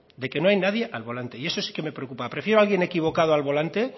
de que no hay nadie al volante y eso sí que me preocupa prefiero a alguien equivocado al volante